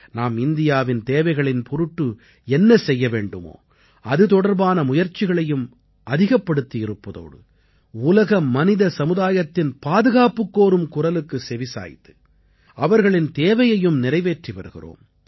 நாம் இந்தியாவின் தேவைகளின் பொருட்டு என்ன செய்ய வேண்டுமோ அது தொடர்பான முயற்சிகளையும் அதிகப்படுத்தியிருப்பதோடு உலக மனித சமுதாயத்தின் பாதுகாப்புக்கோரும் குரலுக்கு செவிசாய்த்து அவர்களின் தேவையையும் நிறைவேற்றி வருகிறோம்